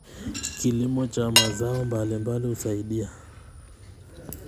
Kilimo cha mazao mbalimbali husaidia